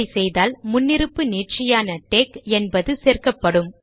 அப்படி செய்தால் முன்னிருப்பு நீட்சியான டெக் என்பது சேர்க்கப்படும்